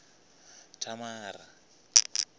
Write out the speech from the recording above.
thamara